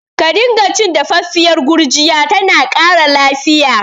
Ka dinga cin dafaffiyar gurjiya, tana ƙara lafiya